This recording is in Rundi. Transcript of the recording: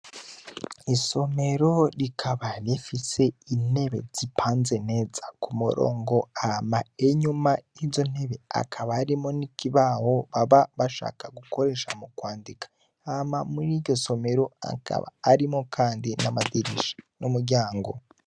Isomero rikaba rifise intebe zipanze neza ku murongo hama enyuma izo ntebe akaba rimo n'ikibaho baba bashaka gukoresha mu kwandika hama muri iryo somero akaba arimo, kandi n'amadirisha n'umuryango.